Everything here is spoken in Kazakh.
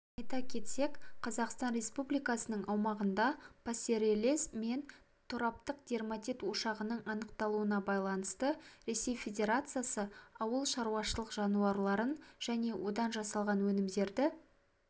айта кетсек қазақстан республикасының аумағында пастереллез мен тораптық дерматит ошағының анықталуына байланысты ресей федерациясы ауыл шаруашылық жануарларын және одан жасалған өнімдерді